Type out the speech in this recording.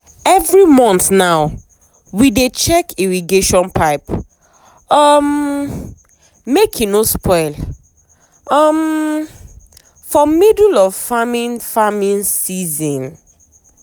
every month now we dey check irrigation pipe um make e no spoil um for middle of farming farming season.